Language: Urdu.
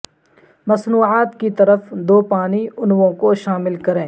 مصنوعات کی طرف دو پانی انووں کو شامل کریں